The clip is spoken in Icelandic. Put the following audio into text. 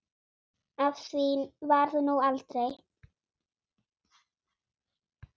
Af því varð nú aldrei.